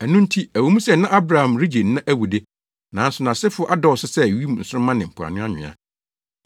Ɛno nti, ɛwɔ mu sɛ na Abraham regye nna awu de, nanso nʼasefo adɔɔso sɛ wim nsoromma ne mpoano nwea.